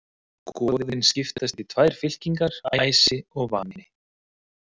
Goðin skiptast í tvær fylkingar, æsi og vani.